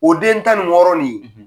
O den tan ni wɔɔrɔ nin